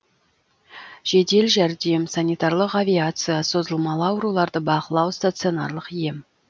жедел жәрдем санитарлық авиация созылмалы ауруларды бақылау стационарлық ем